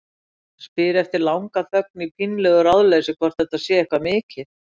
Spyr eftir langa þögn í pínlegu ráðleysi hvort þetta sé eitthvað mikið.